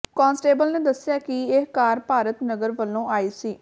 constable ਨੇ ਦੱਸਿਆ ਕਿ ਇਹ ਕਾਰ ਭਾਰਤ ਨਗਰ ਵੱਲੋਂ ਆਈ ਸੀ